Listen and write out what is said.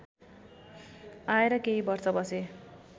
आएर केही वर्ष बसे